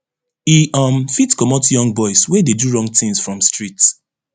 e um fit commot young boys wey dey do wrong tins from street